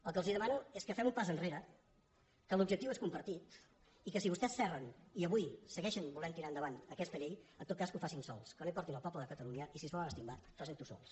el que els demano és que fem un pas enrere que l’objectiu és compartit i que si vostès s’erren i avui segueixen volent tirar endavant aquesta llei en tot cas que ho facin sols que no hi portin el poble de catalunya i si es volen estimbar facin ho sols